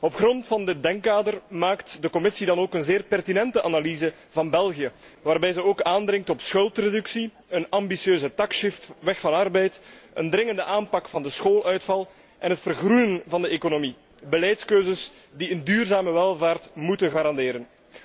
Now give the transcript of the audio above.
Op grond van dit denkkader maakt de Commissie dan ook een zeer pertinente analyse van België, waarbij ze ook aandringt op schuldreductie, een ambitieuze taxshift, weg van arbeid, een dringende aanpak van de schooluitval en het vergroenen van de economie, beleidskeuzes die een duurzame welvaart moeten garanderen.